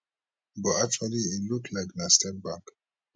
but actually e look like na step back